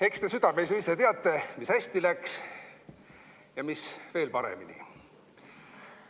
Eks te südames ju ise teate, mis läks hästi ja mis veel paremini.